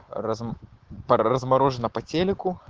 разм по размороженная по телику